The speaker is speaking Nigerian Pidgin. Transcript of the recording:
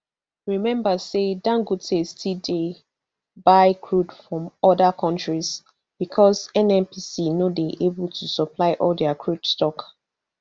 remember say dangote still dey buy crude from oda kontris bicos nnpc no dey able to supply all dia crude stock